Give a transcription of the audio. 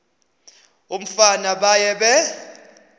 umfana baye bee